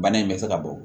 Bana in bɛ se ka bɔ